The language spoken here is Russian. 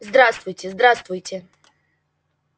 здравствуйте здравствуйте